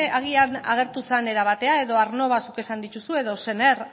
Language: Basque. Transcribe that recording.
agian agertu zen era batean edo aernnova zuk esan dituzun edo sener